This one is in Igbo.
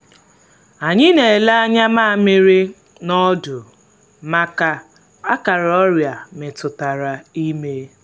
anyị na-ele anya nmamiri na ọdụ maka akara ọrịa metụtara ime.